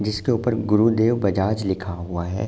जिसके ऊपर गुरुदेव बजाज लिखा हुआ है।